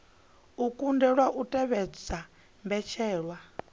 a kundelwa u tevhedza mbetshelwa